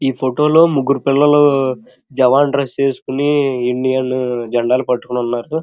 ఈ ఫోటో లో ముగ్గురు పిల్లలు జేవన్ డ్రెస్ వేసుకొని ఇండియన్ జెండాలు పట్టుకొని ఉన్నారు.